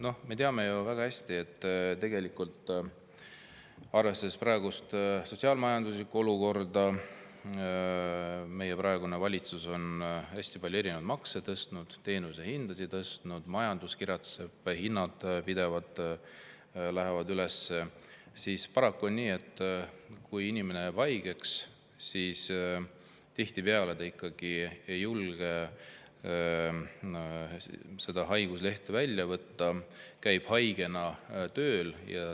Noh, me teame väga hästi, et arvestades praegust sotsiaal-majanduslikku olukorda – praegune valitsus on hästi palju erinevaid makse tõstnud, teenuse hindasid tõstnud, majandus kiratseb, hinnad pidevalt lähevad üles –, on paraku nii, et kui inimene jääb haigeks, siis ta tihtipeale ikkagi ei julge haiguslehte välja võtta ja käib haigena tööl.